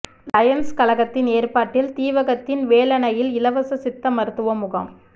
Lions கழகத்தின் ஏற்பாட்டில் தீவகத்தின் வேலணையில் இலவச சித்த மருத்துவ முகாம்